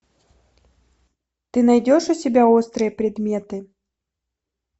ты найдешь у себя острые предметы